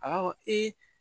A b'a fɔ